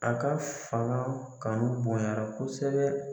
A ka fanga kanu bonɲara kosɛbɛ.